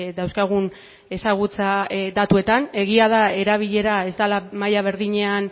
dauzkagun ezagutza datuetan egia da erabilera ez dela maila berdinean